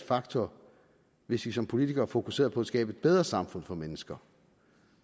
faktor hvis vi som politikere fokuserede på at skabe bedre samfund for mennesker